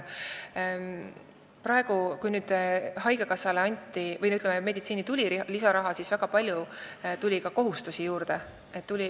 Nüüd, kui haigekassale või, ütleme, meditsiini tuli lisaraha, tuli juurde ka väga palju kohustusi.